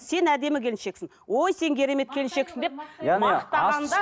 сен әдемі келіншексің ой сен керемет келіншексің деп мақтағанда